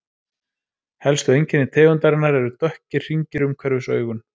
Helstu einkenni tegundarinnar eru dökkir hringir umhverfis augun.